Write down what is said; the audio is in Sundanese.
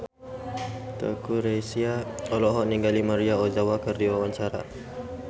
Teuku Rassya olohok ningali Maria Ozawa keur diwawancara